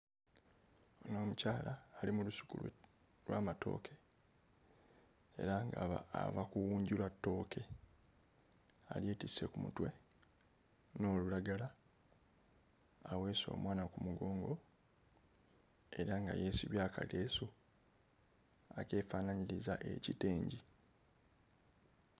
Omukyala ali mu lusuku lw'amatooke era nga aba ava kuwunjula ttooke alyetisse ku mutwe n'olulagala aweese omwana ku mugongo era nga yeesibye akaleesu nga kyefaanaanyiriza ekitengi.